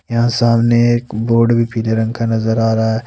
यहां सामने एक बोर्ड भी पीले रंग का नजर आ रहा है।